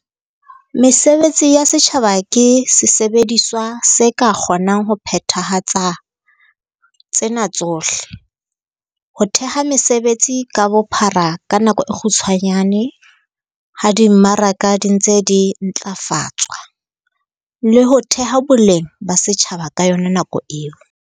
Mesebetsi ya setjhaba ke sesebediswa se ka kgonang ho phethahatsang tsena tsohle- ho theha mesebetsi ka bophara ka nako e kgutshwane ha di mmaraka di ntse di ntlafatswa, le ho theha boleng ba setjhaba ka yona nako eo.